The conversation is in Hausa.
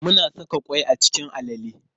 Muna saka ƙwai a cikin alale.